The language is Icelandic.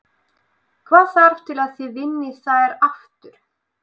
Hvað þarf til að þið vinnið þær aftur?